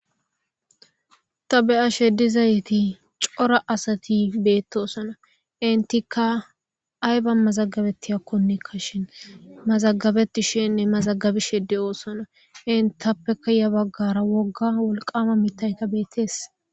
Ta be7a she dizayiti cora asati beettoosona intikka ay ba mazagabetti hakkonekka shin mazagabetti shinne mazagabishi de7oosana intappeka ya baggara wogga wolqama mittayta beettees